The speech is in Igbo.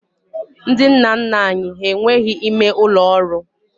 Ndị nna nna anyị ha enweghị ime ụlọ ọrụ